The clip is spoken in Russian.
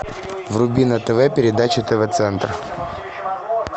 вруби на тв передачу тв центр